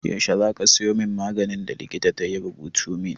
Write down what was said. Yaushe za ka sayo min maganin da likita ya rubuta min?